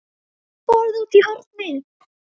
BORÐ ÚTI Í HORNI